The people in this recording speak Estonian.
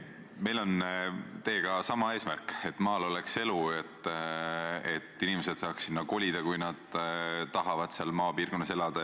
Meil on teiega sama eesmärk: et maal oleks elu, et inimesed saaksid sinna kolida, kui nad tahavad maal elada.